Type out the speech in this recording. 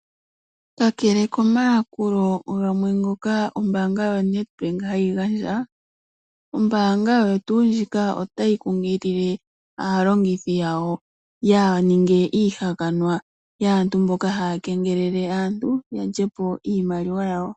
Kakele komayakulo gamwe ngoka ombaanga ya Nedbank hayi gandja, ombaanga oyo tuu ndjika otayi kunkilile aalongithi yawo yaa ninge iihalanwa yaantu mboka haa kengelele aantu yalyepo iimaliwa yawo.